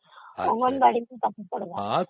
ଅଙ୍ଗନବାଡି ରେ ପଢ଼ିବ